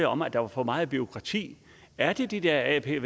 om at der var for meget bureaukrati er det de dér apver